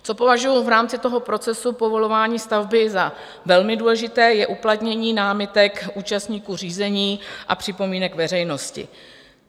Co považuji v rámci toho procesu povolování stavby za velmi důležité, je uplatnění námitek účastníků řízení a připomínek veřejnosti.